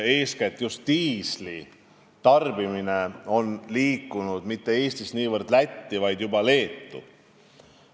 Eeskätt on just diisli tarbimine liikunud mitte niivõrd Eestist Lätti, vaid juba Leetu.